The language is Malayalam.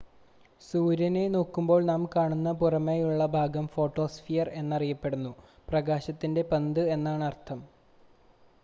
"സൂര്യനെ നോക്കുമ്പോൾ നാം കാണുന്ന പുറമേയുള്ള ഭാഗം ഫോട്ടോസ്ഫിയർ എന്നറിയപ്പെടുന്നു "പ്രകാശത്തിന്റെ പന്ത്" എന്നാണ് അതിനർത്ഥം.